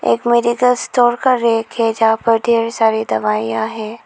एक medical store कर rack है जहां पर ढेर सारी दवाइयां हैं।